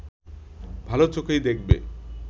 ভালো চোখেই দেখবে